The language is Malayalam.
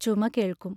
ചുമ കേൾക്കും.